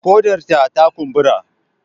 Ƙodarta ta kumbura